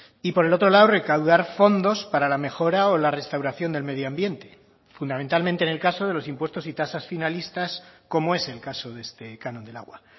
y por el otro lado recaudar fondos para la mejora o la restauración del medio ambiente fundamentalmente en el caso de los impuestos y tasas finalistas como es el caso de este canon del agua